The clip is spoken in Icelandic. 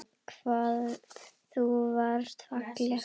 Hvað þú varst falleg.